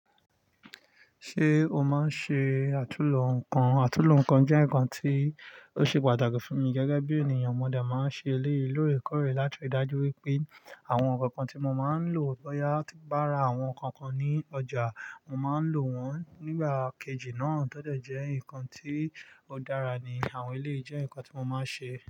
Ṣé o máa ń ṣe àtúnlo nǹkan? Àtúnlo nǹkan jẹ́ nǹkan tí ó ṣe pàtàkì fún mi gẹ́gẹ́ bí ènìyàn. Mo de máa ń ṣe eleyii loorekoọ̀rè láti ri dájú wípé àwọn nǹkan kan tí mo máa ń lò bóyá ti n bá ra àwọn nǹkan kan ní ọjà, mo máa ń lò wọ́n. Nígbà kejì náà, to dẹ̀ jẹ́ nǹkan tí ó dára ni àwọn eleyii jẹ́ nǹkan tí mo máa ń ṣe.